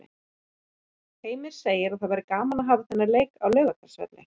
Heimir segir að það væri gaman að hafa þennan leik á Laugardalsvelli.